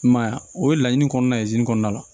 I m'a ye wa o ye laɲini kɔnɔna kɔnɔna la